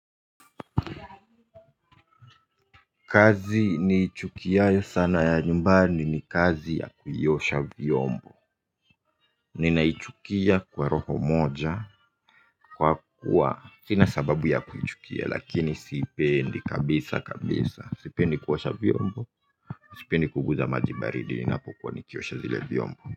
Kazi nichukiayo sana ya nyumbani ni kazi ya kuiosha vyombo. Ninaichukua kwa roho moja kwa kuwa sina sababu ya kuichukia lakini siipendi kabisa kabisa sipendi kuosha vyombo. Sipendi kuguza maji baridi ninapokuwa nikiosha zile vyombo.